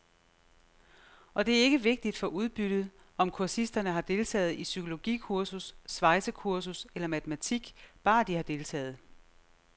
Og det er ikke vigtigt for udbyttet, om kursisterne har deltaget i psykologikursus, svejsekursus eller matematik, bare de har deltaget.